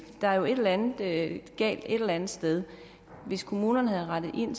er jo et eller andet galt et eller andet sted hvis kommunerne havde rettet ind